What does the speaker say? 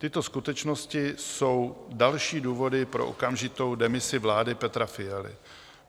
Tyto skutečnosti jsou další důvody pro okamžitou demisi vlády Petra Fialy.